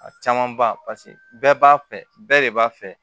A caman ba paseke bɛɛ b'a fɛ bɛɛ de b'a fɛ